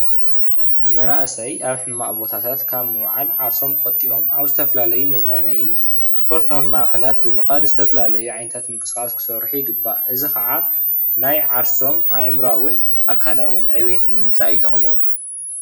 መንኣሰይ ኣብ ሕማቕ ቦታታ ካብ ምዉዓል ዓርሶም ቆጢቦም ኣብ ዝተፈላልዩ መዝናነይን ስፖርታዊ ማከላት ብምካድ ዝተፈላልዩ ዓይንት ምንቅስቃስ ክሰርሑ ይግባእ። እዚ ከዓ ናይ ዓርሶም ኣእምራዉን ኣካላውን ዕብይት ንምምጻእ ይጠቅሞም።